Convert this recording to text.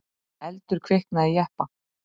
Eldur kviknaði í jeppa